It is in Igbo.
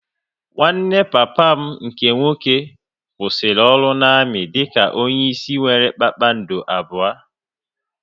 Nwanne papa m nke nwoke kwụsịrị ọrụ na-amị dị ka onye isi nwéré kpakpando abụọ